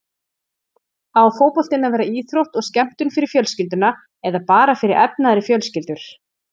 Á fótboltinn að vera íþrótt og skemmtun fyrir fjölskylduna eða bara fyrir efnaðri fjölskyldur?